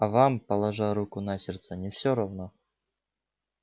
а вам положа руку на сердце не всё равно